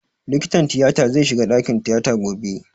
Likitan tiyata zai shiga ɗakin tiyata gobe